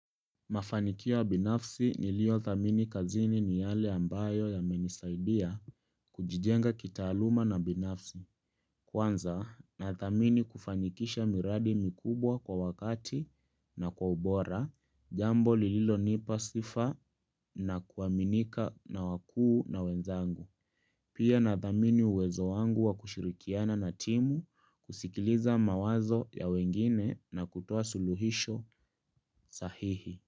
Mafanikio ya binafsi nilio thamini kazini ni yale ambayo yamenisaidia kujijenga kitaaluma na binafsi. Kwanza nathamini kufanikisha miradi mikubwa kwa wakati na kwa ubora, jambo lililo nipa sifa na kuaminika na wakuu na wenzangu. Pia na thamini uwezo wangu wa kushirikiana na timu kusikiliza mawazo ya wengine na kutoa suluhisho sahihi.